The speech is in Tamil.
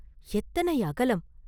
எத்தனை அகலம்?